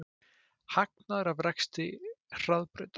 Hagnaður af rekstri Hraðbrautar